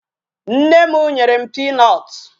Nne m nyere m peanut.